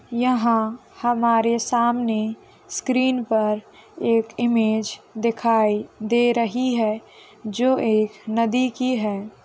यहाँ हमारे सामने स्क्रीन पर एक इमेज दिखाई दे रही है जो एक नदी की है।